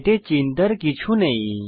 এতে চিন্তার কিছু নেই